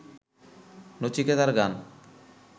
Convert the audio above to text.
নচিকেতার গান